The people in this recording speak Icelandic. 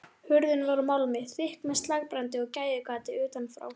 Hurðin var úr málmi, þykk með slagbrandi og gægjugati utanfrá.